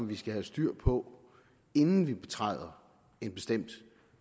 vi skal have styr på inden vi betræder en bestemt